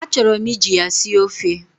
Achọrọ m iji ya sie ofe.